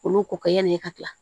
Olu ko kɛ yanni e ka tila